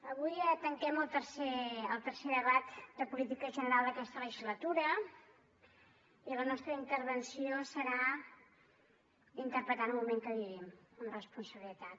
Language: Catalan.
avui tanquem el tercer debat de política general d’aquesta legislatura i la nostra intervenció serà interpretar el moment que vivim amb responsabilitat